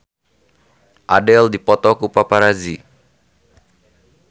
Adele dipoto ku paparazi